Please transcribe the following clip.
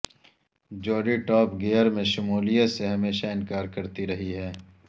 Jodie Top Gear میں شمولیت سے ہمیشہ انکار کرتی رہی ہیں